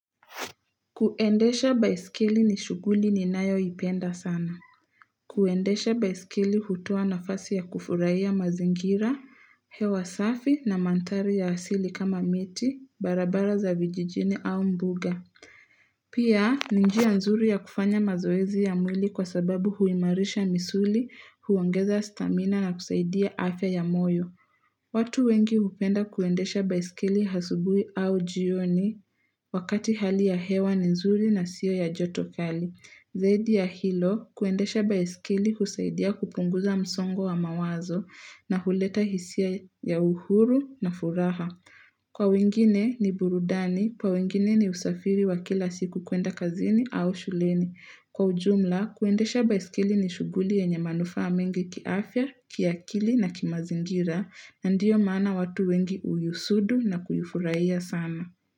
Kuendesha baiskeli ni shuguli ni nayo ipenda sana. Kuendesha baisikeli hutoa nafasi ya kufurahia mazingira, hewa safi na mandhari ya asili kama miti, barabara za vijijini au mbuga. Pia, ni njia nzuri ya kufanya mazoezi ya mwili kwa sababu huimarisha misuli, huongeza stamina na kusaidia afya ya moyo. Watu wengi hupenda kuendesha baiskeli asubuhi au jioni wakati hali ya hewa ni nzuri na sio ya joto kali. Zaidi ya hilo kuendesha baiskeli husaidia kupunguza msongo wa mawazo na huleta hisia ya uhuru na furaha. Kwa wengine ni burudani, kwa wengine ni usafiri wa kila siku kuenda kazini au shuleni. Kwa ujumla, kuendesha baiskeli ni shuguli yenye manufaa mengi kiafya, kiakili na kimazingira na ndiyo maana watu wengi uhusudu na kuifurahiya sana.